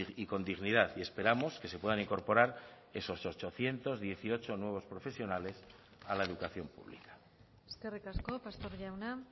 y con dignidad y esperamos que se puedan incorporar esos ochocientos dieciocho nuevos profesionales a la educación pública eskerrik asko pastor jauna